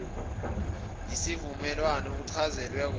yisivumelwano uchazelwe kona